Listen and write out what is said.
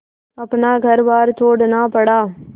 अपना घरबार छोड़ना पड़ा